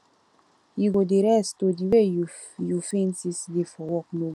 you go dey rest oo the way you you faint yesterday for work no good